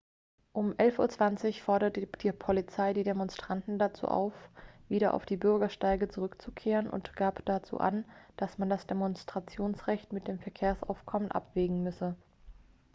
um 11:20 uhr forderte die polizei die demonstranten dazu auf wieder auf die bürgersteige zurückzukehren und gab dazu an dass man das demonstrationsrecht mit dem verkehrsaufkommen abwägen müsse